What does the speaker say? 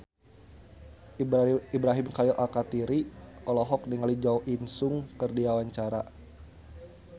Ibrahim Khalil Alkatiri olohok ningali Jo In Sung keur diwawancara